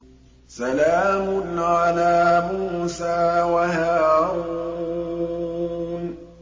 سَلَامٌ عَلَىٰ مُوسَىٰ وَهَارُونَ